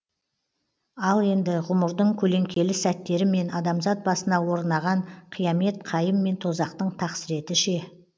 ал енді ғұмырдың көлеңкелі сәттері мен адамзат басына орынаған қиямет қайым мен тозақтың тақсіреті ше